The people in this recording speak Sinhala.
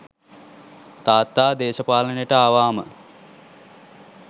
තාත්තා දේශපාලනයට ආවාම